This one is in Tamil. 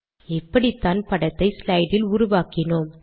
இப்படித்தான் படத்தை ஸ்லைடில் உருவாக்கினோம்